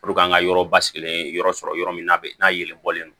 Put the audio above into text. an ka yɔrɔ basigilen yɔrɔ sɔrɔ yɔrɔ min n'a n'a yɛlɛn bɔlen don